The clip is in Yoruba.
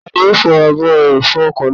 Tani yóò fọ ààbò ẹrọ̀fọ̀ ọkọ̀ náà?